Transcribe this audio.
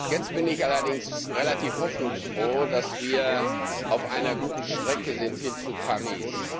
Jetzt bin ich allerdings relativ hoffnungsfroh, dass wir auf einer guten Strecke sind hin zu Paris.